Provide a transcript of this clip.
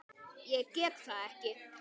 Ég get það ekki!